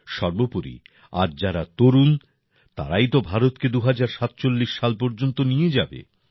সর্বোপরি আজ যারা তরুণ তারাই তো ভারতকে ২০৪৭ সাল পর্যন্ত নিয়ে যাবে